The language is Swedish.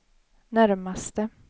närmaste